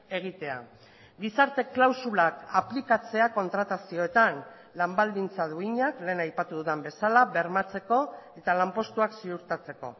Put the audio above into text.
egitea gizarte klausulak aplikatzea kontratazioetan lan baldintza duinak lehen aipatu dudan bezala bermatzeko eta lanpostuak ziurtatzeko